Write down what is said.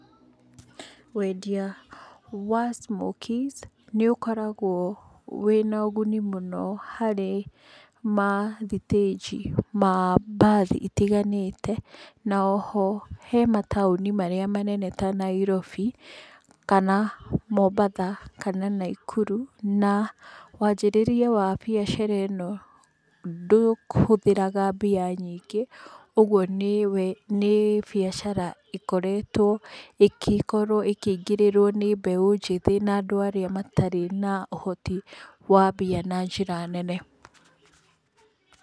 Wendia wa smokies nĩ ũkoragwo wina ũguni mũno harĩ mathitĩji ma mbathi itiganĩte na oho he mataũni maria manene ta Nairobi kana Mombatha kana Naikuru na wanjĩrĩria wa mbiacara ĩno ndũhũthĩraga mbia nyingĩ ũguo nĩ biacara ĩkoretwo ĩgĩkorwo ĩkĩingĩrĩrwo nĩ mbeũ njĩthĩ na andũ arĩa matarĩ na ũhoto wa mbia na njĩra nene.